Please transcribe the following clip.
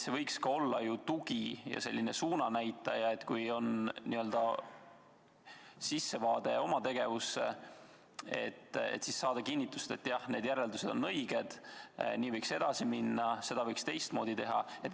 See võiks olla ju ka tugi ning suunanäitaja, mis tegevuse sissevaate korral kinnitaks, et need järeldused on õiged, nii võiks edasi minna, seda võiks teistmoodi teha.